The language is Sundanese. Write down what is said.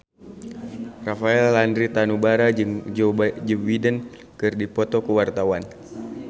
Rafael Landry Tanubrata jeung Joe Biden keur dipoto ku wartawan